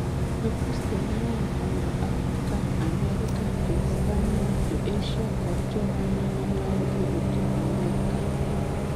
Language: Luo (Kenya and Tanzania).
Lupus bende ng'eny kuom jo African America, jo Hispania, jo Asia kod jo ma mine ma gin jo Amarka